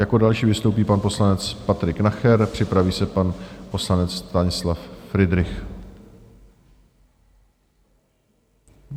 Jako další vystoupí pan poslanec Patrik Nacher, připraví se pan poslanec Stanislav Fridrich.